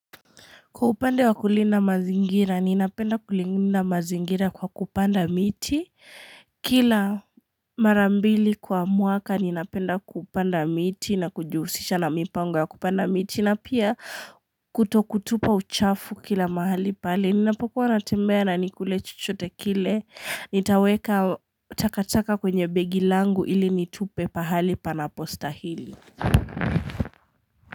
Kwa upande wa kulina mazingira, ninapenda kulina mazingira kwa kupanda miti Kila marambili kwa mwaka ninapenda kupanda miti na kujihusisha na mipango ya kupanda miti na pia kutokutupa uchafu kila mahali pale Ninapokuwa natembea na nikule chochote kile Nitaweka takataka kwenye begi langu ili nitupe pahali pana postahili.